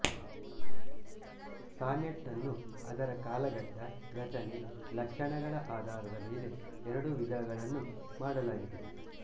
sonnet ನ್ನು ಅದರ ಕಾಲಘಟ್ಟ ರಚನೆ ಲಕ್ಷಣಗಳ ಆಧಾರದ ಮೇಲೆ ಎರಡು ವಿದಗಳನ್ನು ಮಾಡಲಾಗಿದೆ